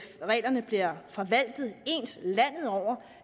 reglerne bliver forvaltet ens landet over